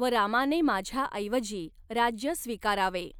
व रामाने माझ्याऐवजी राज्य स्वीकारावे.